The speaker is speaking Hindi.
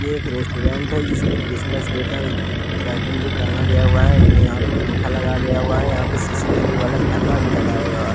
यह एक रेस्टोरेंट है जिसमें क्रिसमस डे का कार्टून भी टांगा गया हुआ है यहाँ पे पंखा लगा गया हुआ है यहाँ पे सी_सी_टी_वी वाला कैमरा भी लगाया हुआ--